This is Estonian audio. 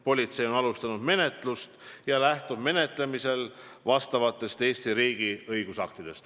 Politsei on alustanud menetlust ja lähtub menetlemisel asjaomastest Eesti riigi õigusaktidest.